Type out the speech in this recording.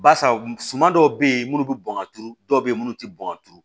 Barisa suman dɔw be yen munnu be bɔn ka turu dɔw be yen munnu te bɔn ka turu